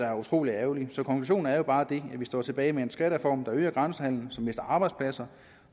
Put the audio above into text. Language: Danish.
er utrolig ærgerligt så konklusionen er bare den at vi står tilbage med en skattereform der øger grænsehandelen så vi mister arbejdspladser